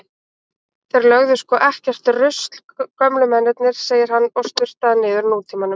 Þeir lögðu sko ekkert rusl gömlu mennirnir, segir hann og sturtar niður Nútímanum.